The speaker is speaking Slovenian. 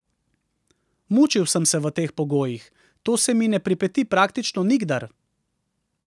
Mučil sem se v teh pogojih, to se mi ne pripeti praktično nikdar.